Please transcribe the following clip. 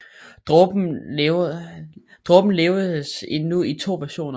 Dråben leveres nu i to versioner